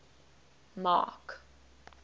mark